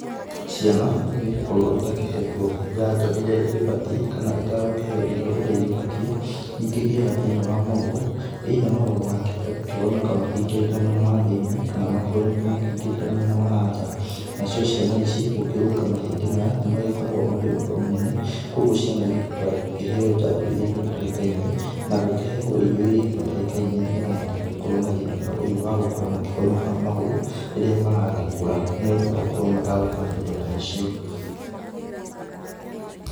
Ciana ingĩgĩkorwo itakĩhetwo njanjo iria igĩbatiĩ kana itagũkĩheo irio ũrĩa igĩbatiĩ, nĩ ikĩgĩaga thĩna wa magũrũ either magũrũ magakĩhota gũkĩgonyoka makĩingĩrĩte mwena wa thĩ-inĩ kana makĩgonyoke makĩingĩrĩte mwena wa nja, nacio ciana ici gũkĩrũnga mahĩndĩ maya nĩ magĩkoragwo marĩ ũhoro mũnene mũno kũguo ciana igĩbataraga gũkĩheo njanjo iria igĩbatarĩkainie na gũkĩheagwo irio iria igĩbatarĩkainie nĩgetha matigagĩkorwo na thĩna ta ũyũ wa gũkorwo magĩkĩgonyoka magũrũ, rĩrĩa maragĩkũra nĩ ũndũ wa gũkorwo matagũkĩona indo ta icio